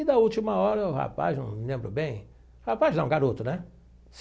E da última hora, o rapaz, não me lembro bem... Rapaz não, garoto, né?